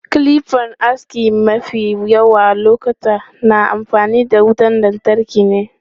Kilipan aski mafi yawan lokuta na amfani da wutan lantarki ne.